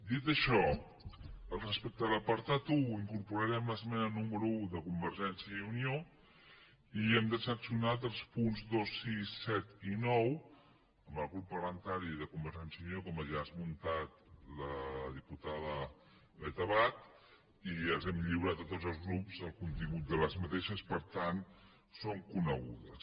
dit això respecte a l’apartat un incorporarem l’esmena número un de convergència i unió i hem transaccionat els punts dos sis set i nou amb el grup parlamentari de convergència i unió com ja ha esmentat la diputada beth abad i els hem lliurat a tots els grups el contingut d’aquestes per tant són conegudes